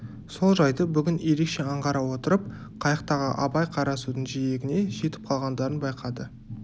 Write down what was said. сол жайды бүгін ерекше аңғара отырып қайықтағы абай қарасудың жиегіне жетіп қалғандарын байқады